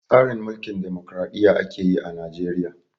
Tsarin Mulkin damokraɗiyya ake yi a Najeriya.